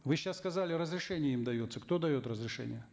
вы сейчас сказали разрешение им дается кто дает разрешение